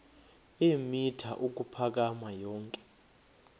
eemitha ukuphakama yonke